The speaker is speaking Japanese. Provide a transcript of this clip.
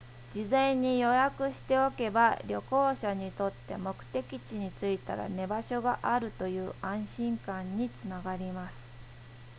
事前に予約しておけば旅行者にとって目的地に着いたら寝場所があるという安心感につながります